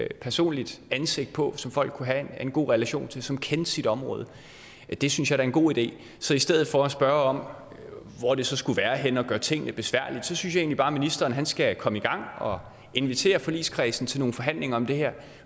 et personligt ansigt på som folk kunne have en god relation til og som kendte sit område det synes jeg da er en god ide så i stedet for at spørge om hvor det så skulle være henne og gøre tingene besværlige synes jeg egentlig bare at ministeren skal komme i gang og invitere forligskredsen til nogle forhandlinger om det her